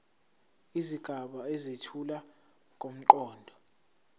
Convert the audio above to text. izigaba ezethula ngomqondo